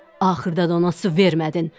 Axırda da ona su vermədin.